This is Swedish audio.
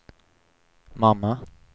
mamma